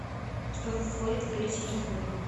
что входит в перечень расходников